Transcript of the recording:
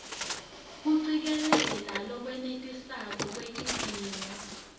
kucikelela lolwenetisako lwetidzingo